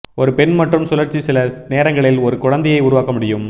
ஒரு பெண் மட்டும் சுழற்சி சில நேரங்களில் ஒரு குழந்தையை உருவாக்க முடியும்